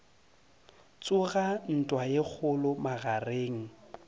tsoga ntwa ye kgolo magareng